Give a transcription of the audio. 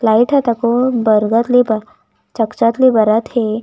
Light ह तको बरगद ले ब चक-चक ले बरत हे।